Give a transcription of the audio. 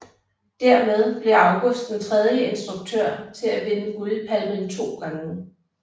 Dermed blev August den tredje instruktør til at vinde Guldpalmen to gange